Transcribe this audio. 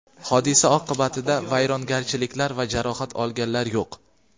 Hodisa oqibtida vayronagarchiliklar va jarohat olganlar yo‘q.